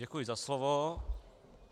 Děkuji za slovo.